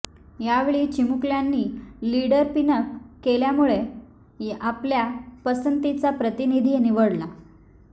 यावेळी चिमुकल्यांनी लिडर पिनअप केल्यामुळे आपल्या पसंतीचा प्रतिनिधी निवडला